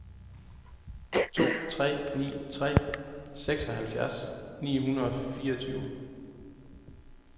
to tre ni tre seksoghalvfjerds ni hundrede og fireogtyve